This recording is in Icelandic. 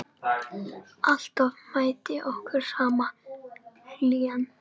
Alltaf mætti okkur sama hlýjan.